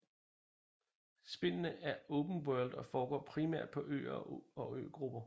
Spillene er open world og foregår primært på øer og øgrupper